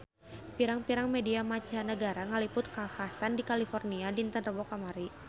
Pirang-pirang media mancanagara ngaliput kakhasan di California dinten Rebo kamari